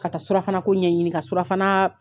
Ka taa surafana ko ɲɛ ɲini ka surafana